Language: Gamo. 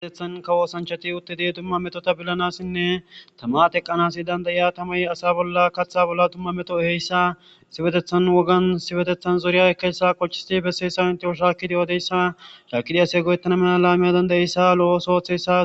Issipetethan kawo osanchati utid dumma Metota bilanasinne tama teqanas danda'iya tamay asa bolla katha bolla dumma dumma meto ehiyaysa issipetethani xoriyan issipetethani xoriyan ekiyayada tawu shakid odiyayasa shakidi asay go'etana mala , lo'o oso othiyaysa ....